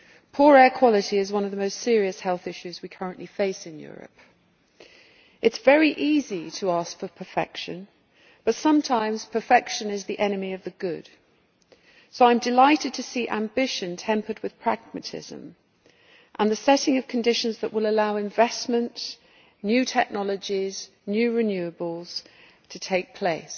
Poor air quality is one of the most serious health issues we currently face in Europe. It is very easy to ask for perfection but sometimes perfection is the enemy of the good, so I am delighted to see ambition tempered by pragmatism, and the setting of conditions that will allow investment in new technologies and new renewables to take place.